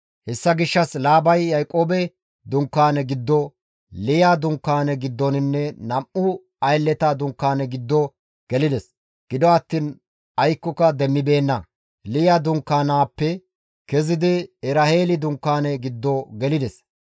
Hessa gishshas Laabay Yaaqoobe dunkaane giddo, Liya dunkaane giddonne nam7u aylleta dunkaane giddo gelides; gido attiin aykkoka demmibeenna; Liya dunkaanaappe kezidi Eraheeli dunkaane giddo gelides.